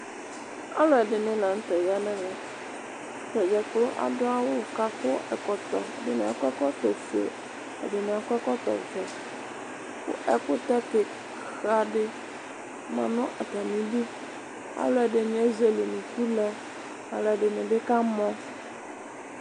Ɔlʋ ɛdini la n'tɛ ya ŋ'ɛmɛ keyi ɛkʋ, adʋ awʋ k'akʋ ɛkɔtɔ, ɛdini akɔ ɛkɔtɔ fue, ɛdini akɔ ɛkɔtɔ vɛ Ɛkʋtɛ kiika di ma nʋ afamidu, alʋ ɛdini ezele unuku lɛ, alʋ ɛdini bi kamɔ